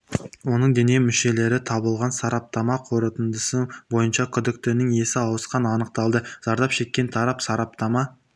оның дене мүшелері табылған сараптама қорытындысы бойынша күдіктінің есі ауысқаны анықталды зардап шеккен тарап сараптама